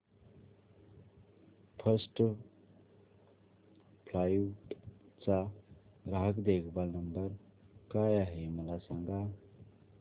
first Flight चा ग्राहक देखभाल नंबर काय आहे मला सांग